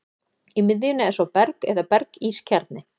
Í miðjunni er svo berg eða berg-ís kjarni.